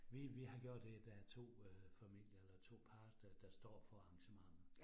Vi vi har gjort det, der 2 øh familier eller 2 par, der der står for arrangementet